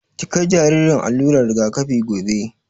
Ki kai jaririn allular rigakafi gobe!